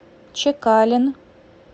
чекалин